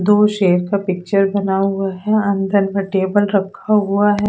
दो शेर का पिक्चुर बना हुआ है अंदर में टेबल रखा हुआ है।